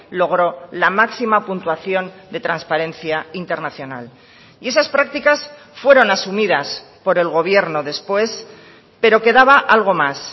logró la máxima puntuación de transparencia internacional y esas prácticas fueron asumidas por el gobierno después pero quedaba algo más